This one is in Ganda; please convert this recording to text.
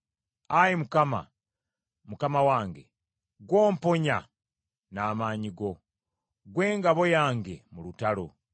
Ayi Mukama , Mukama wange, ggw’omponya n’amaanyi go, ggwe engabo yange mu lutalo.